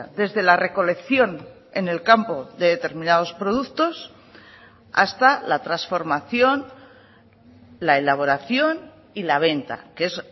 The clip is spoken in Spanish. desde la recolección en el campo de determinados productos hasta la transformación la elaboración y la venta que es